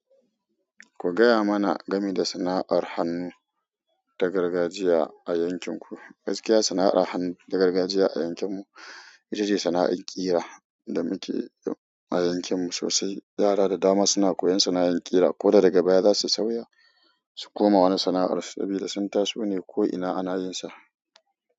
Ku gaya mana gami da sana'ar hannu ta gargajiya a yankin ku. Gaskiya sana'ar hannu da gargajiya a yankin mu itace sana'ar ƙira da muke a yankin mu sosai. Yara da dama suna koyan sana'ar kira ko da daga baya za su sauya su koma wani sana'ar sabida sun taso ne ko'ina a nahiyarsa.